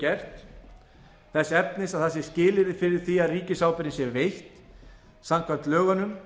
gert þess efnis að það sé skilyrði fyrir því að ríkisábyrgðin sé veitt samkvæmt lögunum